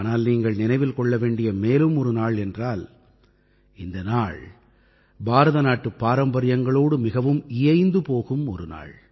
ஆனால் நீங்கள் நினைவில் கொள்ள வேண்டிய மேலும் ஒரு நாள் என்றால் இந்த நாள் பாரதநாட்டுப் பாரம்பரியங்களோடு மிகவும் இயைந்து போகும் ஒரு நாள்